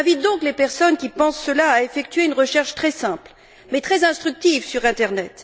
J'invite donc les personnes qui pensent cela à effectuer une recherche très simple mais très instructive sur Internet.